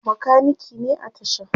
makaniki ne a tashan